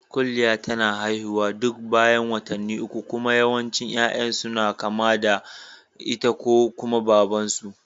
Kuliya tana haihuwa duk bayan watanni ukku kuma yawancin yayan ta suna kama da ita ko kuma Baban su